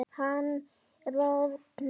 Hann roðnar.